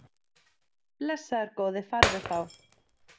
Blessaður góði farðu þá.